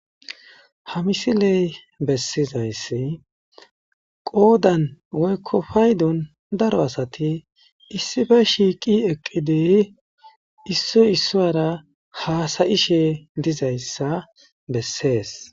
Ha misiley bessizayssi qoodan woykko paydon daro asati issife shiiqi eqqidiy issoy issora haasayishe dizayssa bessees.